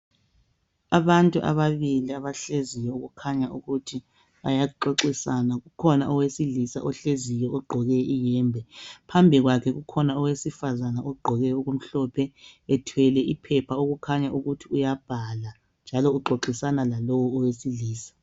Abantu ababili abahleziyo okukhanya ukuthi bayaxoxisana. Kukhona owesilisa ohleziyo ogqoke iyembe ,phambi kwakhe kukhona owesifazane ogqoke okumhlophe ethwele iphepha okukhanya ukuthi uyabhala. Uxoxisana lalowu owesilisa.